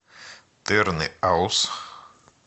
тырныауз